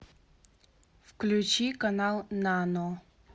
включи канал нано